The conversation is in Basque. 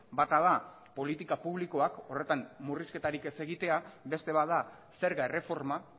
bata da politika publikoak horretan murrizketarik ez egitea beste bat da zerga erreforma